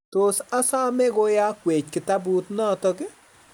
Tos asome koyakwech kitabut notok